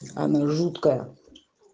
она жуткая